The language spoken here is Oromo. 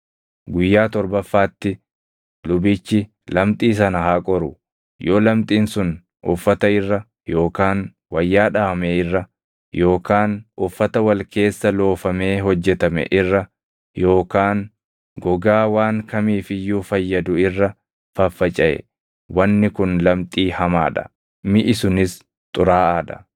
Guyyaa torbaffaatti lubichi lamxii sana haa qoru; yoo lamxiin sun uffata irra yookaan wayyaa dhaʼame irra yookaan uffata wal keessa loofamee hojjetame irra yookaan gogaa waan kamiif iyyuu fayyadu irra faffacaʼe wanni kun lamxii hamaa dha; miʼi sunis xuraaʼaa dha.